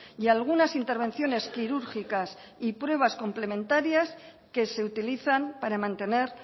y algunas intervenciones quirúrgicas y pruebas complementarias que se utilizan para mantener